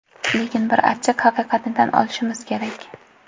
Lekin bir achchiq haqiqatni tan olishimiz kerak.